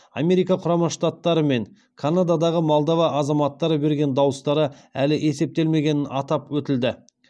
америка құрама штаттары мен канададағы молдова азаматтары берген дауыстары әлі есептелмегенін атап өтілді